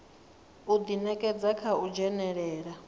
u ḓinekedza kha u dzhenelela